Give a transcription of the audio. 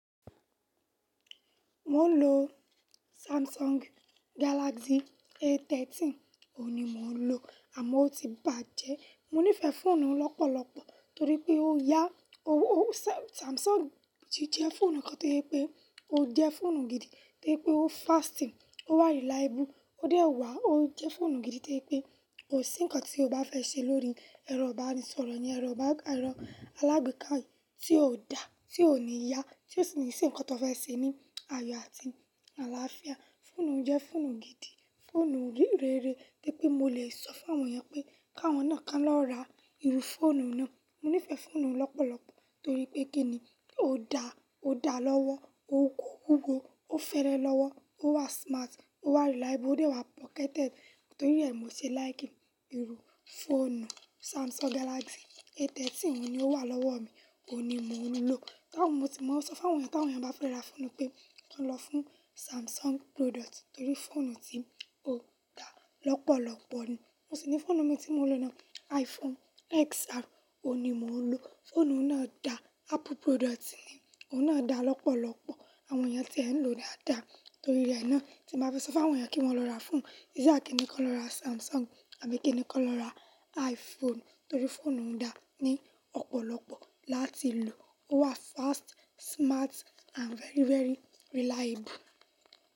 Mo ń lo Samsung Galaxy A13, òun ni mo ń lò àmọ́ ó ti bàjẹ́. Mo nífẹ̀ẹ́ fóònù lọ́pọ̀lọ̀pọ̀ torí pé ó yá, ó, ó Samsung ti jẹ́ fóònù kan tí pé ó jẹ́ fóònù gidi, tí pé ó fasting, ó reliable, ó dẹ̀ wà, ó jẹ́ fóònù gidi tí pé kò sí ǹkan tí o bá fẹ́ ṣe lórí, ẹ̀rọ bá ni sọ̀rọ̀ yẹn, ẹ̀rọ bá, ẹ̀rọ alágbèéká tí ò da, tí ò ní yá, tí ó sì ní ṣe ǹkan tí o fẹ́ ṣe ní àyò àti àlàáfíà. Fóònù jẹ́ fóònù gidi, fóònù rere, tí pé mo lè sọ fún àwọn èèyàn pé káwọn náà ká lọ ra irú fóònù náà. Mo nífẹ̀ẹ́ fóònù lọ́pọ̀lọ̀pọ̀ torí pé kí ni ó da, ó da lọ́wọ́, ó kó, wúwó fẹ́lẹ́ lọ́wọ́, ó wà smart, ó wà reliable, ó dẹ̀ wà pocketed torí rẹ̀ mo ṣe like ìrù fóònù Samsung Galaxy A13, òun ni ó wà lọ́wọ́ mi, òun ni mò ń lò. Tá ń mó ti mo ń sọ fún àwọn èèyàn tí àwọn èèyàn bá fẹ́ lọ ra fóònù pé kí wọ́n lọ fún Samsung product torí fóònù ti ó dá lọ́pọ̀lọpọ̀ ni. Mo sì ní fóònù mi tí mo lọ ná iPhone XR, òun ni mò ń lò. Fóònù náà da, Apple product ni, òun náà da lọ́pọ̀lọpọ̀. Àwọn èèyàn tí ẹ̀ ń lò dáa dáa torí rẹ̀ náà tí bàá fẹ́ sọ fún àwọn èèyàn kí wọ́n lọ ra fóònù. Èsì à kí ni kí wọn lọ ra Samsung àbí kí ni kí wọn lọ ra iPhone torí fóònù ń da ní ọ̀pọ̀lọpọ̀ láti lò. Ó wà fast, smart and very, very reliable.